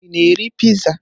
Ị na-eri piizaa?